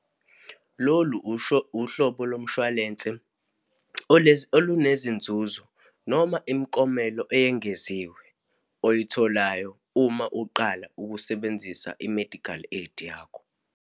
Lolu, usho, uhlobo lomshwalense olunezinzuzo, noma imiklomelo eyengeziwe oyitholayo uma uqala ukusebenzisa i-medical aid yakho.